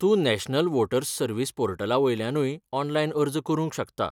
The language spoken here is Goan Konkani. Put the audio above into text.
तूं नॅशनल वोटर्स सर्विस पोर्टलावेल्यानूय ऑनलायन अर्ज करूंक शकता.